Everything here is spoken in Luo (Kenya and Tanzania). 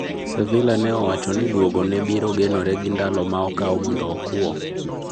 Sevilla ne owacho ni dwogo ne biro genore gi ndalo ma okawo mondo okuo